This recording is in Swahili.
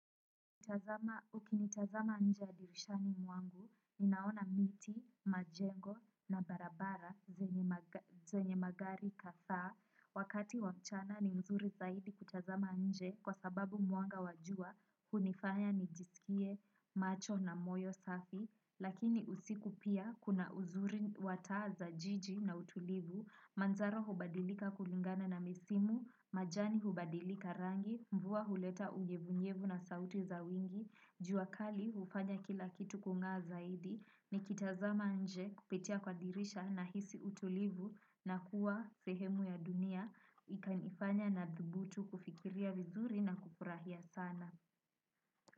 Nikitazama nje ya dirishani mwangu, ninaona miti, majengo na barabara, zenye magari kadhaa, wakati wa mchana ni mzuri zaidi kutazama nje kwa sababu mwanga wa jua, hunifanya nijisikie macho na moyo safi, lakini usiku pia kuna uzuri wa taa za jiji na utulivu, manzaro hubadilika kulingana na misimu, majani hubadilika rangi, mvua huleta unyevunyevu na sauti za wingu. Jua kali hufanya kila kitu kungaa zaidi nikitazama nje kupitia kwa dirisha na hisi utulivu na kuwa sehemu ya dunia ikanifanya na dhubutu kufikiria vizuri na kufurahia sana.